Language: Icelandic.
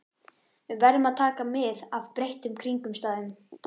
Við verðum að taka mið af breyttum kringumstæðum.